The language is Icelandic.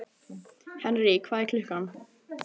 Henry, hvað er klukkan?